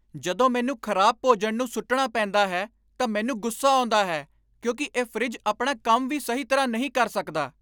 ਜਦੋਂ ਮੈਨੂੰ ਖਰਾਬ ਭੋਜਨ ਨੂੰ ਸੁੱਟਣਾ ਪੈਂਦਾ ਹੈ ਤਾਂ ਮੈਨੂੰ ਗੁੱਸਾ ਆਉਂਦਾ ਹੈ ਕਿਉਂਕਿ ਇਹ ਫਰਿੱਜ ਆਪਣਾ ਕੰਮ ਵੀ ਸਹੀ ਤਰ੍ਹਾਂ ਨਹੀਂ ਕਰ ਸਕਦਾ!